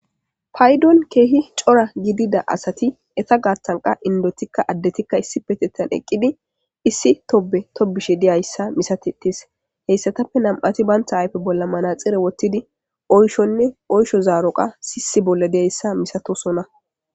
Paydon keehi cora gidida asati eta gaathanqa indotikka addetikka issi petetan eqqidi issi tobe tobishe diyayssa misatetees heyssatappe nam'ati baynta ayfe bolla manaxire wottidi oyshonne oysho zaaroqa sisi bolla diyayssa misatosona.